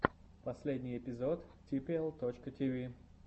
последний эпизод типиэл точка тиви